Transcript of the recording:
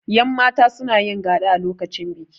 yanmata suna yin gaɗa a lokacin biki